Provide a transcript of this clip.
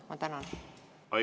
Ma tänan!